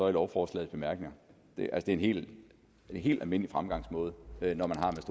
i lovforslagets bemærkninger det er en helt helt almindelig fremgangsmåde